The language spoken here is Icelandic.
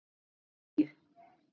Upp á tíu.